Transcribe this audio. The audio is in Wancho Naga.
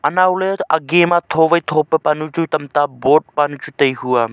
nowley age ma tho wai tho pan chu tamta bot panu chatai hua.